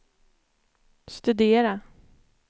studera